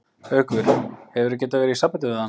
Haukur: Hefurðu getað verið í sambandi við hann?